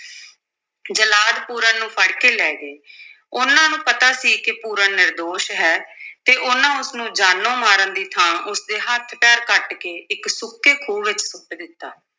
ਜਲਾਦ ਪੂਰਨ ਨੂੰ ਫੜ ਕੇ ਲੈ ਗਏ ਉਨ੍ਹਾਂ ਨੂੰ ਪਤਾ ਸੀ ਕਿ ਪੂਰਨ ਨਿਰਦੋਸ਼ ਹੈ ਤੇ ਉਨ੍ਹਾਂ ਉਸ ਨੂੰ ਜਾਨੋਂ ਮਾਰਨ ਦੀ ਥਾਂ ਉਸ ਦੇ ਹੱਥ-ਪੈਰ ਕੱਟ ਕੇ ਇੱਕ ਸੁੱਕੇ ਖੂਹ ਵਿੱਚ ਸੁੱਟ ਦਿੱਤਾ।